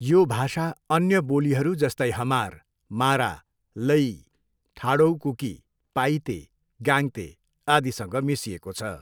यो भाषा अन्य बोलीहरू जस्तै हमार, मारा, लैई, ठाडोउ कुकी, पाइते, गाङ्ते आदिसँग मिसिएको छ।